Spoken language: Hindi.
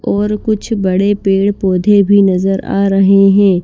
और कुछ बड़े पेड़-पौधे भी नजर आ रहे हैं।